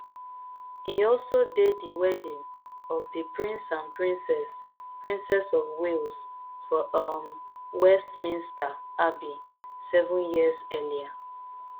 e also dey di wedding of di prince and princess princess of wales for um westminster abbey seven years earlier